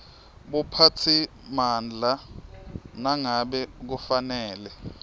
buphatsimandla nangabe kufanele